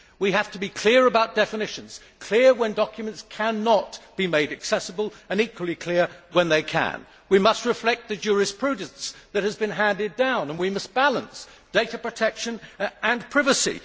We have to be clear about definitions, clear when documents cannot be made accessible, and equally clear when they can. We must reflect the jurisprudence that has been handed down, and we must balance data protection and privacy.